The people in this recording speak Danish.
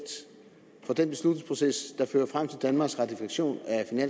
for den beslutningsproces der fører frem til danmarks ratifikation